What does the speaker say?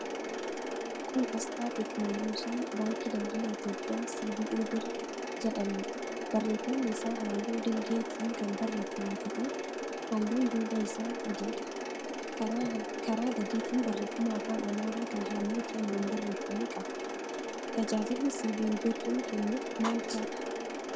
Kun aasxaa teekinooloojii Baankii Daldala Itiyoophiyaa 'CBE birr' jedhamuudha. Barreeffamni isaa halluu dhiilgeetiin kan barreeffame ta'ee, halluun duubaa isaa adiidha. Karaa gadiitiin barreeffama afaan Amaaraa kan halluu keelloon barreeffame qaba. Tajaajilli 'CBE Birr'n kennu maal faadha?